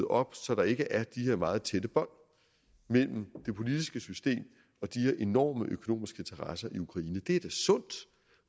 op så der ikke er de her meget tætte bånd mellem det politiske system og de enorme økonomiske interesser i ukraine er sund